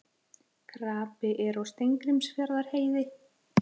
Krapi er á Steingrímsfjarðarheiði